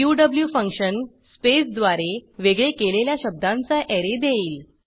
Q function स्पेसद्वारे वेगळे केलेल्या शब्दांचा ऍरे देईल